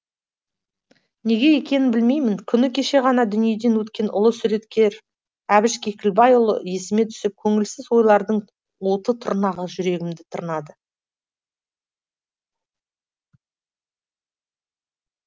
неге екенін білмеймін күні кеше ғана дүниеден өткен ұлы суреткер әбіш кекілбайұлы есіме түсіп көңілсіз ойлардың тырнағы жүрегімді тырнады